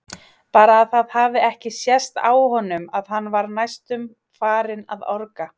Bara að það hafi ekki sést á honum að hann var næstum farinn að orga!